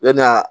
Yani a ka